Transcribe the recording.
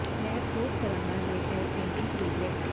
ਮੈਂ ਅਫ਼ਸੋਸ ਕਰਾਂਗਾ ਜੇ ਮੈਂ ਇਹ ਪੇਂਟਿੰਗ ਖ਼ਰੀਦ ਲਿਆ